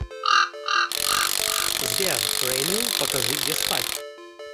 сбер рэмил покажи где спать